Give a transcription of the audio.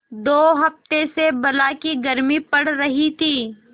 दो हफ्ते से बला की गर्मी पड़ रही थी